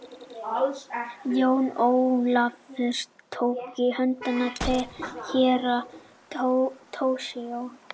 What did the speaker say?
Jón Ólafur tók í hönd Herra Toshizo.